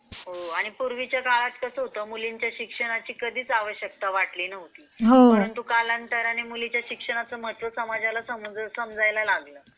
आणि पूर्वीच्या काळात कसं होतं मुलींच्या शिक्षणाची कधीच आवश्यकता वाटली नव्हती परंतु कालांतराने मुलींची शिक्षणाचे महत्त्व समाजाला समजलं.